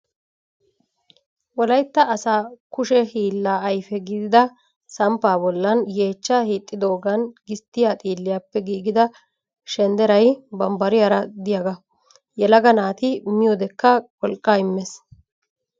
wolayitta asa kushe hiillaa ayife gididaa samppaa bollan yeechcha hiixxidoogan gisttiyaa xiilliyaappe giigida shendderayi bambbariyaara diyaagaa. Yelaga naati miyoodekka wolqqa immes.